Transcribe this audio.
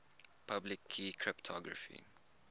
public key cryptography